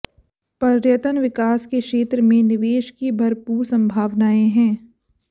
पर्यटन विकास के क्षेत्र में निवेश की भरपूर संभावनाएँ हैं